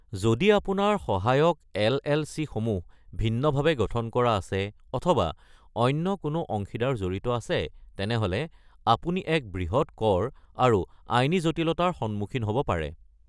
যদি আপোনাৰ সহায়ক এল.এল.চি.-সমূহ ভিন্নভাৱে গঠন কৰা আছে অথবা অন্য কোনো অংশীদাৰ জড়িত আছে, তেনেহ’লে আপুনি এক বৃহৎ কৰ আৰু আইনী জটিলতাৰ সন্মুখীন হ'ব পাৰে।